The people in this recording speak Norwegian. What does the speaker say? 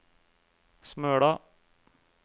Smøla